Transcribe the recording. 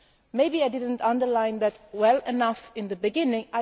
Maybe I did not underline that point well enough at the beginning.